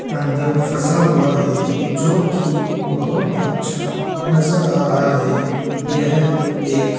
अंदर फंसा हुआ है जो की बहुत अच्छा नजर आ रहा है यह एक --